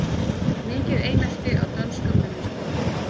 Mikið einelti á dönskum vinnustöðum